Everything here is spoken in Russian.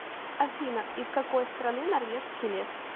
афина из какой страны норвежский лес